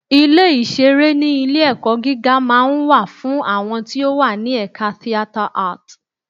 Ilé ìṣeré ní ilé-ẹ̀kọ́ gíga máa ń wà fún àwọn tí ó wà ní ẹ̀ka Theatre Art.